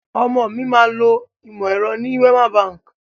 Ọmọ mi máa lo ìmọ̀ ẹ̀rọ rẹ ní Wema Bank.